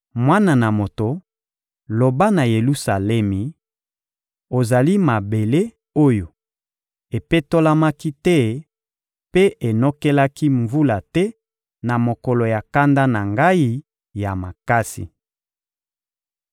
«Mwana na moto, loba na Yelusalemi: ‹Ozali mabele oyo epetolamaki te mpe enokelaki mvula te na mokolo ya kanda na Ngai ya makasi.›